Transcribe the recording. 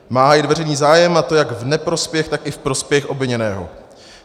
Má hájit veřejný zájem, a to jak v neprospěch, tak i v prospěch obviněného.